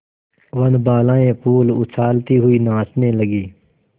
वनबालाएँ फूल उछालती हुई नाचने लगी